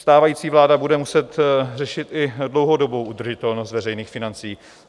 Stávající vláda bude muset řešit i dlouhodobou udržitelnost veřejných financí.